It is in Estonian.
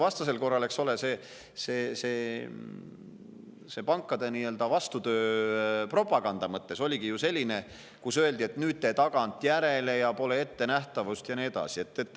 See pankade nii-öelda vastupropaganda oligi ju selline, et öeldi, et nüüd te tagantjärele ja pole ettenähtavust ja nii edasi.